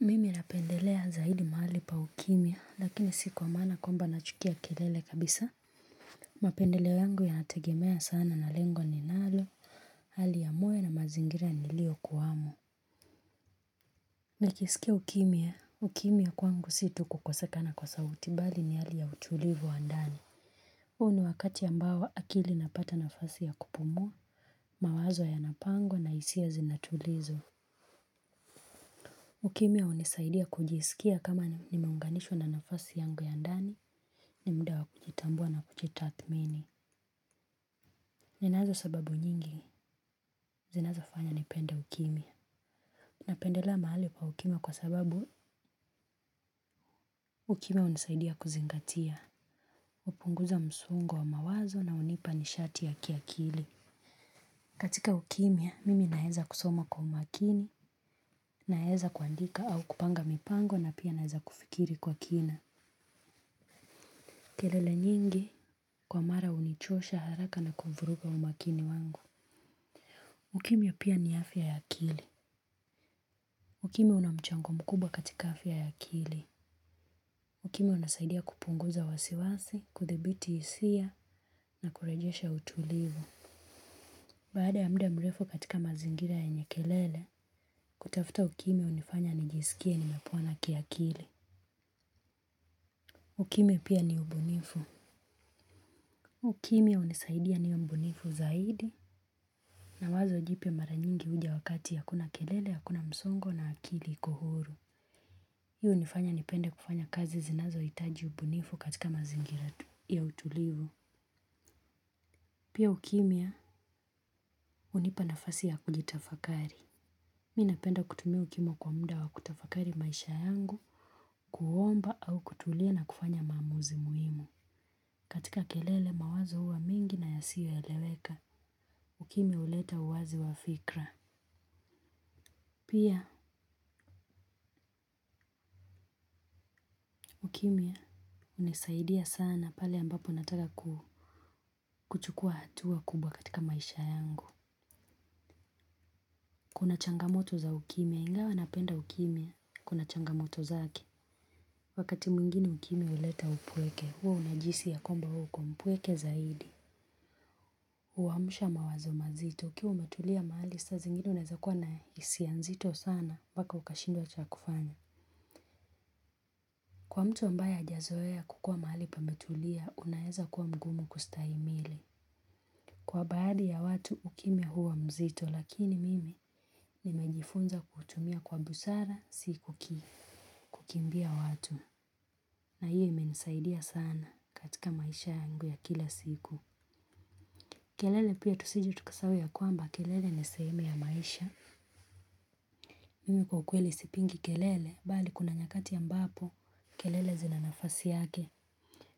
Mimi napendelea zaidi mahali pa ukimya lakini si kwa maana kwamba nachukia kelele kabisa. Mapendeleo yangu yanategemea sana na lengo ninalo, hali ya moyo na mazingira niliyokuwamo. Nikisikia ukimya, ukimya kwangu si tu kukosekana kwa sauti bali ni hali ya utulivu wa ndani. Huu ni wakati ambao akili inapata nafasi ya kupumua, mawazo yanapangwa na hisia zinatulizwa. Ukimya hunisaidia kujisikia kama nimeunganishwa na nafasi yangu ya ndani ni muda wa kujitambua na kujitathmini. Ninazosababu nyingi, zinazofanya nipende ukimya. Napendelea mahali pa ukimya kwa sababu ukimya hunisaidia kuzingatia. Hupunguza msongo wa mawazo na hunipa nishati ya kiakili. Katika ukimya, mimi naeza kusoma kwa umakini, naeza kuandika au kupanga mipango na pia naeza kufikiri kwa kina. Kelele nyingi kwa mara hunichosha haraka na kuvuruga umakini wangu. Ukimya pia ni afya ya akili. Ukimya unamchango mkubwa katika afya ya akili. Ukimya unasaidia kupunguza wasiwasi, kudhibiti hisia na kurejesha utulivu. Baada ya muda mrefu katika mazingira yenye kelele, kutafuta ukimya hunifanya nijisikie nimepona kiakili. Ukimya pia ni ubunifu. Ukimya hunisaidia niwe mbunifu zaidi. Na wazo jipya mara nyingi huja wakati hakuna kelele, hakuna msongo na akili iko huru. Hii hunifanya nipende kufanya kazi zinazohitaji ubunifu katika mazingira tu ya utulivu. Pia ukimya hunipa nafasi ya kujitafakari. Mi napenda kutumia ukimya kwa muda wa kutafakari maisha yangu, kuomba au kutulia na kufanya maamuzi muhimu. Katika kelele mawazo huwa mingi na yasiyoeleweka, ukimya huleta uwazi wa fikra. Pia, ukimya hunisaidia sana pale ambapo unataka kuchukua hatua kubwa katika maisha yangu. Kuna changamoto za ukimya, ingawa napenda ukimya, kuna changamoto zake. Wakati mwingine ukimya huleta upweke, huwa unajihisi ya kwamba wewe uko mpweke zaidi. Huamsha mawazo mazito, ukiwa umetulia mahali, saa zingine unaeza kuwa na hisia nzito sana, mpaka ukashindwa cha kufanya. Kwa mtu ambaye hajazoea kukuwa mahali pametulia, unaeza kuwa mgumu kustahimili. Kwa baadi ya watu ukimya huwa mzito lakini mimi nimejifunza kutumia kwa busara sikuki kukimbia watu na hiyo imenisaidia sana katika maisha yangu ya kila siku. Kelele pia tusije tukasahau ya kwamba kelele ni sehemu ya maisha. Mimi kwa kweli sipingi kelele bali kuna nyakati ambapo kelele zinanafasi yake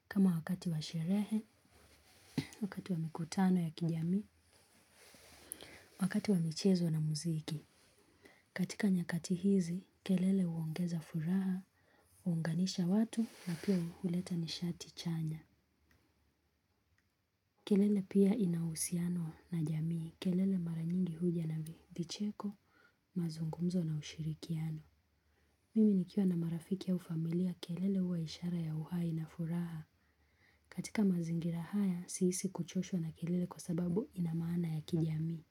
kama wakati wa sherehe, wakati wa mikutano ya kijamii, wakati wa michezo na muziki. Katika nyakati hizi, kelele huongeza furaha, huunganisha watu na pia huleta nishati chanya. Kelele pia inauhusiano na jamii. Kelele mara nyingi huja na vicheko, mazungumzo na ushirikiano. Mimi nikiwa na marafiki au familia, kelele huwa ishara ya uhai na furaha. Katika mazingira haya, sihisi kuchoshwa na kelele kwa sababu inamaana ya kijamii.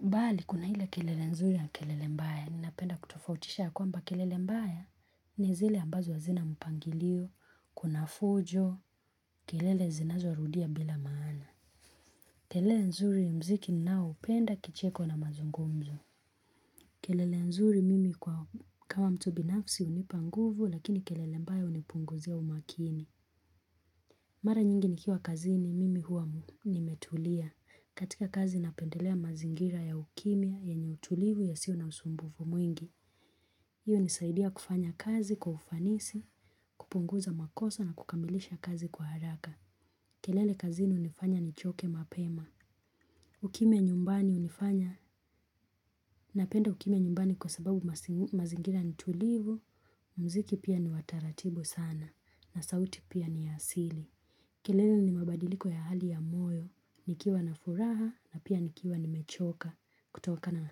Bali, kuna ile kelele nzuri ya kelele mbaya, ninapenda kutofautisha ya kwamba kelele mbaya, ni zile ambazo hazina mpangilio, kuna fujo, kelele zinazorudia bila maana. Kelele nzuri muziki ninaoupenda kicheko na mazungumzo. Kelele nzuri mimi kwa kama mtu binafsi hunipa nguvu, lakini kelele mbaya hunipunguzia umakini. Mara nyingi nikiwa kazini mimi huwa nimetulia. Katika kazi napendelea mazingira ya ukimya yenye utulivu yasiyo na msumbufu mwingi. Hiyo hunisaidia kufanya kazi kwa ufanisi, kupunguza makosa na kukamilisha kazi kwa haraka. Kelele kazini hunifanya nichoke mapema. Ukimya nyumbani hunifanya. Napenda ukimya nyumbani kwa sababu mazingira ni tulivu, muziki pia ni wa taratibu sana na sauti pia ni ya asili. Kelele ni mabadiliko ya hali ya moyo, nikiwa na furaha na pia nikiwa nimechoka kutokana.